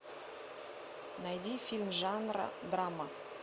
найди фильм жанра драма